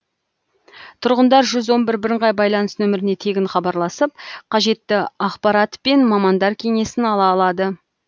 тұрғындар жүз он бір бірыңғай байланыс нөміріне тегін хабарласып қажетті ақпарат пен мамандар кеңесін ала алады